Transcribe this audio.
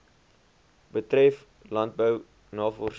betref landbou navorsing